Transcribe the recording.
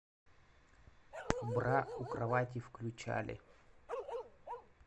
бра у кровати включали